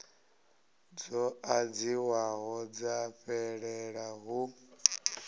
dzo ḓadziwaho dza fhelela hu